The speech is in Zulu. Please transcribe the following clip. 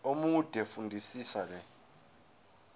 omude fundisisa le